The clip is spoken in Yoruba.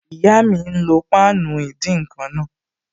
Ìyá mi n lo páànù ìdín-nǹkan náà